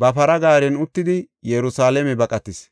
ba para gaaren uttidi Yerusalaame baqatis.